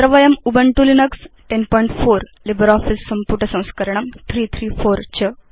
अत्र वयं Ubuntu Linux 1004 LibreOffice सम्पुट संस्करणं 334